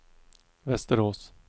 Västerås